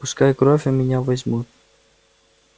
пускай кровь у меня возьмут